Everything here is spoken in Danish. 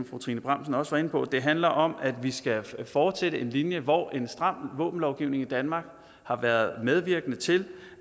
fru trine bramsen også var inde på det handler om at vi skal fortsætte en linje hvor en stram våbenlovgivning i danmark har været medvirkende til